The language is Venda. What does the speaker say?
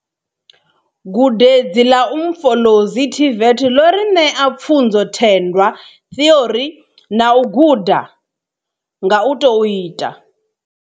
Gudedzi ḽa Umfolozi TVET ḽo ri ṋea pfunzothendwa theori na u guda nga u tou ita.